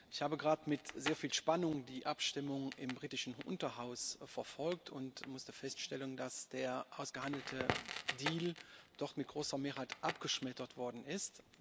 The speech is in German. Ich habe gerade mit sehr viel Spannung die Abstimmung im britischen Unterhaus verfolgt und musste feststellen, dass der ausgehandelte Deal doch mit großer Mehrheit abgeschmettert worden ist.